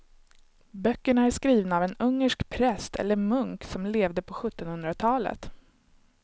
Böckerna är skrivna av en ungersk präst eller munk som levde på sjuttonhundratalet.